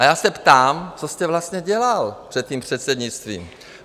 A já se ptám, co jste vlastně dělal před tím předsednictvím?